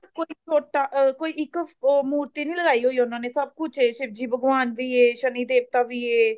ਕੋਈ ਛੋਟਾ ਅਹ ਕੋਈ ਇੱਕ ਉਹ ਮੂਰਤੀ ਨੀ ਲਗਾਈ ਹੋਈ ਉਹਨਾਂ ਨੇ ਸਬ ਕੁੱਛ ਐ ਸ਼ਿਵ ਜੀ ਭਗਵਾਨ ਵੀ ਐ ਸ਼ਨੀ ਦੇਵਤਾ ਵੀ ਐ